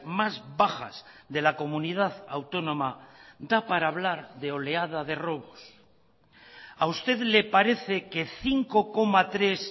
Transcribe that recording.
más bajas de la comunidad autónoma da para hablar de oleada de robos a usted le parece que cinco coma tres